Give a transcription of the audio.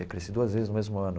Aí, cresci duas vezes no mesmo ano.